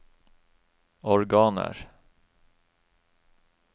organer